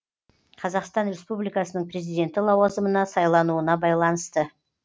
қазақстан республикасының президенті лауазымына сайлануына байланысты